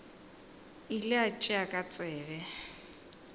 ile a tšea ka tsebe